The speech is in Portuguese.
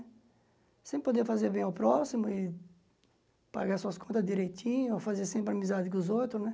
Sempre poder fazer bem ao próximo e pagar suas contas direitinho, fazer sempre amizade com os outros, né?